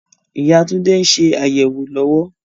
Ìyá Tunde ń ṣe àyẹ̀wò lọ́wọ́